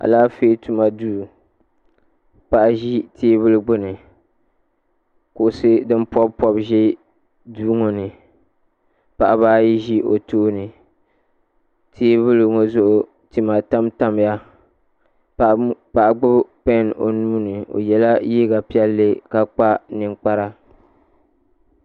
Alaafee tuma duu paɣa ʒi teebuli gbini kuɣusi din pobi pobi ʒi duu ŋɔ ni paɣaba ayi ʒi duu ŋɔ ni teebuli ŋɔ zuɣu tima tam tamya paɣa gbibi pen o nuuni o yela liiga piɛlli ka kpa ninkpara.